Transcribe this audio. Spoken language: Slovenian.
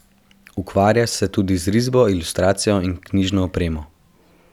Ukvarja se tudi z risbo, ilustracijo in knjižno opremo.